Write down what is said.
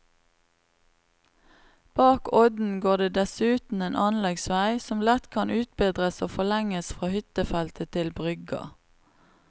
Bak odden går det dessuten en anleggsvei, som lett kan utbedres og forlenges fra hyttefeltet til brygga.